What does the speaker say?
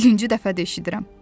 Birinci dəfədir eşidirəm.